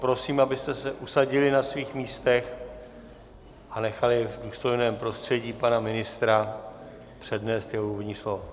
Prosím, abyste se usadili na svých místech a nechali v důstojném prostředí pana ministra přednést jeho úvodní slovo.